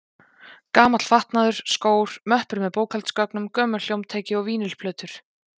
Gamall fatnaður, skór, möppur með bókhaldsgögnum, gömul hljómtæki og vínyl-plötur.